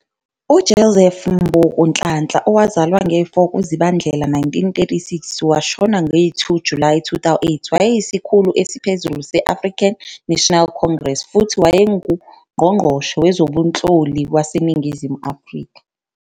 UJoseph Mbuku Nhlanhla, 4 kuZibandlela 1936 - 2 Julayi 2008, wayeyisikhulu esiphezulu se- African National Congress futhi owayenguNgqongqoshe Wezobunhloli waseNingizimu Afrika.